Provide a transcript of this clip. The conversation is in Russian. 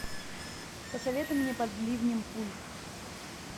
посоветуй мне под ливнем пуль